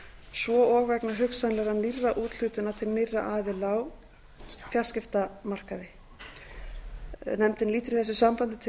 svo og vegna hugsanlegra nýrra úthlutana til nýrra aðila á fjarskiptamarkaði nefndin lítur í þessu sambandi til